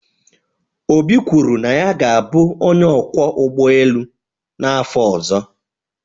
Obi kwuru na ya ga-abụ onye ọkwọ ụgbọ elu n'afọ ọzọ